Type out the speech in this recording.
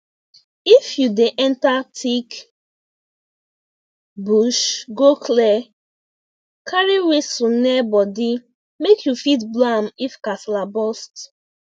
if you dey enter thick bush go clear carry whistle near body make you fit blow am if kasala burst